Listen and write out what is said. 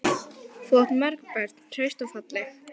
Þú átt mörg börn, hraust og falleg.